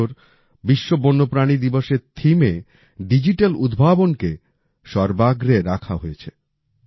এ বছর বিশ্ব বন্যপ্রাণী দিবসের themeএ ডিজিটাল উদ্ভাবনকে সর্বাগ্রে রাখা হয়েছে